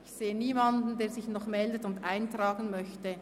Ich sehe niemanden, der sich noch meldet und eintragen möchte.